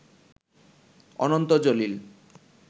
Ananta Jalil